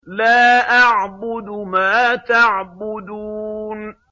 لَا أَعْبُدُ مَا تَعْبُدُونَ